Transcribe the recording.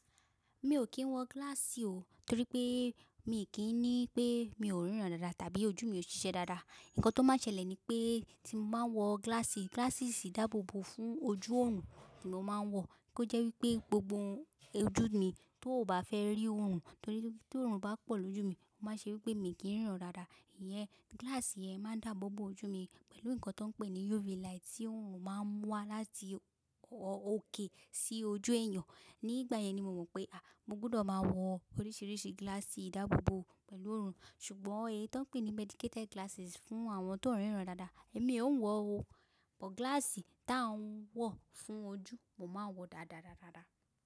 Mi ò kí ń wọ glass o torí pé mi kì í ní pé mi ò ríran dáadáa tàbí ojú mi ò ṣiṣẹ́ dáadáa. Ǹkan tó máa ṣẹlẹ̀ ni pé tí mo bá wọ glass, glasses sì dáàbò bo fún ojú òòrùn ni mo máa ń wọ, kí ó jẹ́ wí pé gbogbo ojú mi tó ò bá fẹ́ rí òòrùn torí pé tí òòrùn bá pọ̀ lójú mi, ó máa ṣe wí pé mi kì í ríran dáadáa. Ìyẹn glass yẹn máa ń dáàbò bo ojú mi pẹ̀lú nǹkan tó ń pè ní UV light tí òòrùn máa ń múwa láti òkè sí ojú èèyàn. Nígbà yẹn ni mo mọ̀ pé à, mo gbọdọ̀ máa wọ oríṣiríṣi glasses ìdáàbò bo pẹ̀lú òòrùn. Ṣùgbọ́n èyí tó ń pè ní medicated glasses fún àwọn tó ń ríran dáadáa, èmi ò ń wọ o. Ọ̀pọ̀ glass tí à ń wọ̀ fún ojú, mo máa ń wọ dáadáá dáadáa.